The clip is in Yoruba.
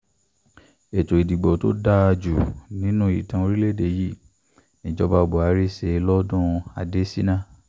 ètò ìdìbò tó dáa jù nínú ìtàn orílẹ̀‐èdè yìí níjọba buhari ṣe lọ́dún adésínà